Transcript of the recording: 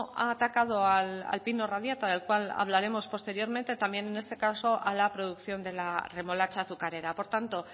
ha atacado al pino radiata del cual hablaremos posteriormente también en este caso a la producción de la remolacha azucarera por tanto